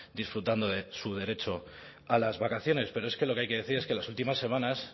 disfrutando de su derecho a las vacaciones pero es que lo que hay que decir es que las últimas semanas